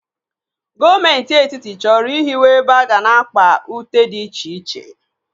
Gọọmenti Etiti chọrọ ịhiwe ebe aga na-akpa ute dị iche iche.